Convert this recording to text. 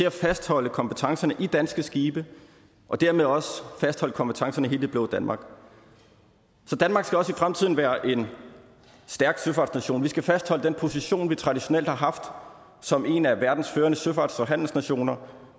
at fastholde kompetencerne i danske skibe og dermed også fastholde kompetencerne i hele det blå danmark så danmark skal også i fremtiden være en stærk søfartsnation og vi skal fastholde den position vi traditionelt har haft som en af verdens førende søfarts og handelsnationer